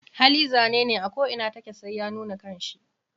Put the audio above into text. Hali zanene ako inatake sai ya nuna kanshi.